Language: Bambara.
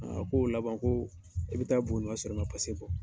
Aaa ko laban ko e bɛ taa Buguni ka sɔrɔ i ma bɔ.